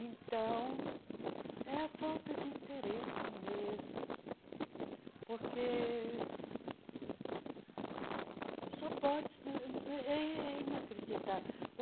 Então, é a falta de interesse mesmo, porque só pode... eh é inacreditável.